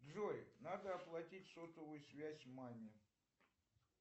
джой надо оплатить сотовую связь маме